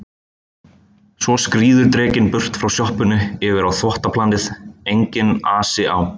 Svo skríður drekinn burt frá sjoppunni yfir á þvottaplanið, enginn asi á